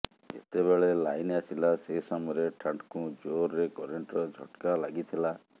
ଯେତେବେଳେ ଲାଇନ୍ ଆସିଲା ସେ ସମୟରେ ଠାଠ୍କୁ ଜୋରରେ କରେଣ୍ଟର ଝଟ୍କା ଲାଗିଥିଲା